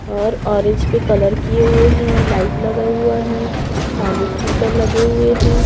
और ऑरेंज पे कलर किए हुए है लाइट लगा हुआ है पानी फिल्टर लगे हुए है।